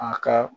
A ka